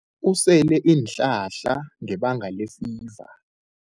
Usele iinhlahla ngebanga lefiva.